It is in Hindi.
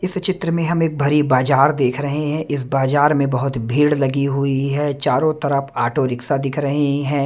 इस चित्र में हम एक भरी बाजार देख रहे हैं इस बाजार में बहुत भीड़ लगी हुई है चारों तरफ ऑटो रिक्शा दिख रहे हैं।